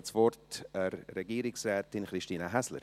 Ich gebe das Wort Regierungsrätin Christine Häsler.